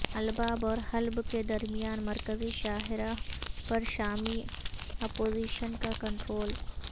الباب اور حلب کے درمیان مرکزی شاہراہ پر شامی اپوزیشن کا کنٹرول